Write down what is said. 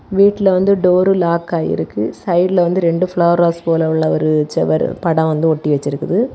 வீட்ல வந்து door lock ஆயிருக்கு. சைடுல வந்து ரெண்டு பிளவர் வாஸ் போல உள்ள ஒரு செவர் படம் வந்து ஒட்டி வைச்சிருக்குது.